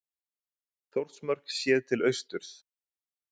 þórsmörk séð til austurs